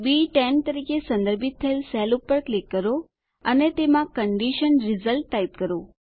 બી10 તરીકે સંદર્ભિત થયેલ સેલ પર ક્લિક કરો અને તેમાં કન્ડિશન રિઝલ્ટ ટાઈપ કરો